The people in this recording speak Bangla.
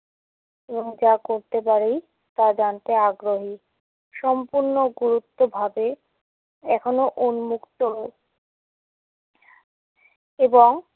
এবং যা করতে পারি তা জানতে আগ্রহী। সম্পুর্ণ গুরুত্বভাবে এখনও উন্মুক্ত নয়। এবং